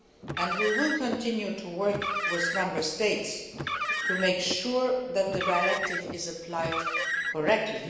and will continue to work with Member States to make sure that the directive is applied correctly.